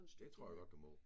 Det tror jeg godt du må